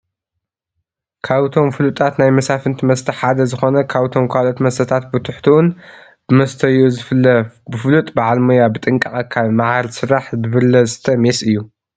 ካብቶም ፍሉጣት ናይ መሳፍንቲ መስተ ሓደ ዝኾነ ካብቶም ካልኦት መስተታት ብትሕትኡን ብመሰተይኡ ዝፍለ ብፍሉጥ በዓል ሞያ ብጥንቃቐ ካብ መዓር ዝስራሕ ብብርለ ዝስተ ሜስ እዩ።